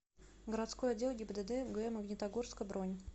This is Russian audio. городской отдел гибдд г магнитогорска бронь